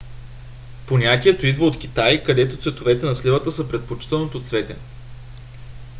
понятието идва от китай където цветовете на сливата са предпочитаното цвете